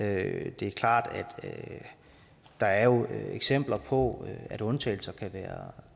at det er klart at der jo er eksempler på at undtagelser kan være